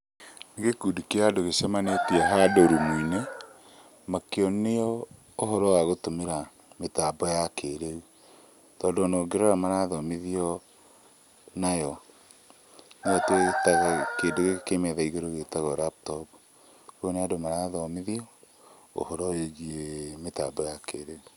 Nĩ gĩkundi kĩa andũ gĩcemanĩtie handũ rumu-inĩ, makĩonio ũhoro wa gũtũmĩra mĩtambo ya kĩrĩu. Tondũ ona ũngĩrora, marathomithio nayo. Nĩo twĩtaga, kĩndũ gĩkĩ kĩ metha igũrũ, gĩtagwo laptop. Koguo nĩ andũ marathomithio ũhoro wĩgie mĩtambo ya kĩrĩu